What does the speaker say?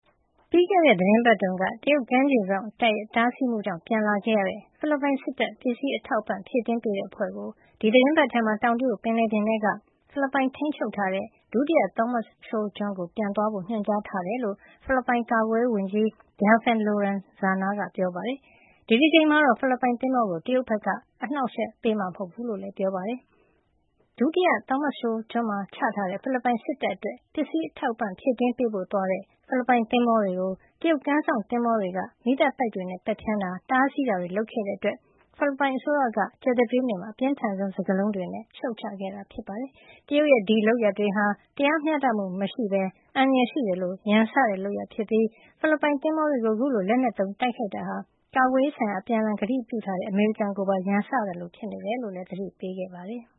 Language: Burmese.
ပြီးခဲ့တဲ့ သီတင်းပတ်တုန်းက တရုတ်ကမ်းခြေစောင့်တပ်ရဲ့ တားဆီးမှုကြောင့် ပြန်လာခဲ့ရတဲ့ ဖိလစ်ပိုင်စစ်တပ် ပစ္စည်းဖြည့်တင်းပေးတဲ့ အဖွဲ့ကို ဒီသီတင်းပတ်ထဲမှာ တောင်တရုတ်ပင်လယ်ပြင်ထဲက ဖိလစ်ပိုင်ထိန်းချုပ်ထားတဲ့ ဒုတိယ Thomas Shoal ကျွန်းကို ပြန်သွားဖို့ ညွှန်ကြားထားတယ်လို့ ဖိလစ်ပိုင်ကာကွယ်ရေးဝန်ကြီး Delfin Lorenzana က ပြောပါတယ်။ ဒီတကြိမ်မှာတော့ ဖိလစ်ပိုင်သင်္ဘောကို တရုတ်ဘက်က အနှောင့်အယှက်ပေးမှာ မဟုတ်ဘူးလို့လည်း ပြောပါတယ်။ Ayungin လို့ ခေါ်ဆိုကြတဲ့ ဒုတိယ Thomas Shoal ကျွန်းမှာ ချထားတဲ့ ဖိလစ်ပိုင်စစ်တပ်အတွက် ပစ္စည်းအထောက်အပံ့ ဖြည့်တင်းပေးဖို့ သွားတဲ့ ဖိလစ်ပိုင် သင်္ဘောတွေကို တရုတ်ကမ်းစောင့်သင်္ဘောတွေက မီးသတ်ပိုက်တွေနဲ့ ပက်ဖျန်းတာ၊ တားဆီးခဲ့တာတွေ လုပ်ခဲ့တဲ့အတွက် ဖိလစ်ပိုင်အစိုးရက ကြာသပတေးနေ့က အပြင်းထန်ဆုံး စကားလုံးတွေနဲ့ ရှုတ်ချခဲ့တာပါ။ တရုတ်ရဲ့ ဒီလုပ်ရပ်တွေဟာ တရားမျှတမှုမရှိဘဲ အန္တရာယ်ရှိသလို ရန်စတဲ့လုပ်ရပ်ဖြစ်ပြီး ဖိလစ်ပိုင်သင်္ဘောတွေကို ခုလို လက်နက်သုံး တိုက်ခိုက်တာဟာ ကာကွယ်ရေးဆိုင်ရာ အပြန်အလှန် ကတိကဝတ်ပြုထားတဲ့ အမေရိကန်ကိုပါ ရန်စသလို ဖြစ်နေတယ်လို့လည်း သတိပေးလိုက်ပါတယ်။